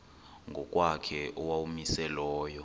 ngokwakhe owawumise layo